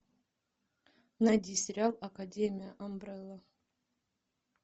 найди сериал академия амбрелла